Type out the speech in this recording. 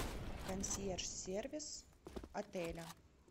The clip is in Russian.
консьерж сервис отеля